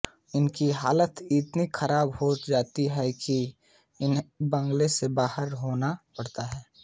उनकी हालत इतनी खराब हो जाती है कि उन्हें बंगले से बाहर होना पड़ता है